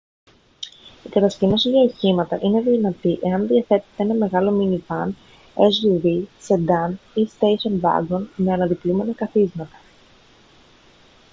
η κατασκήνωση για οχήματα είναι δυνατή εάν διαθέτετε ένα μεγάλο μίνι βαν suv σεντάν ή στέισον βάγκον με αναδιπλούμενα καθίσματα